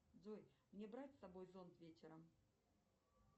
джой мне брать с собой зонт вечером